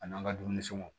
A n'an ka dumuni sɔngɔw